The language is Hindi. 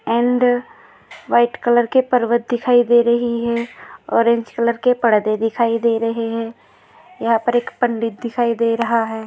अँड व्हाइट कलर के पर्वत दिखाई दे रही है ऑरेंज कलर के पर्दे दिखाई दे रहे है यहाँ पर एक पंडित दिखाई दे रहा है।